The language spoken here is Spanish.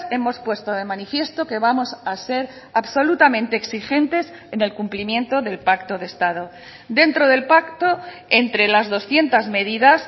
hemos puesto de manifiesto que vamos a ser absolutamente exigentes en el cumplimiento del pacto de estado dentro del pacto entre las doscientos medidas